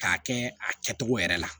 K'a kɛ a kɛtogo yɛrɛ la